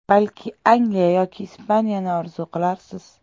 Balki Angliya yoki Ispaniyani orzu qilarsiz?